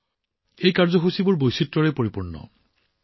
এই অনুষ্ঠানবোৰ একাধিক ৰঙেৰে সজাই তোলা হৈছিল বৈচিত্ৰ্যৰে ভৰা